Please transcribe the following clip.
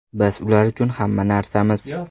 Biz ular uchun hamma narsamiz.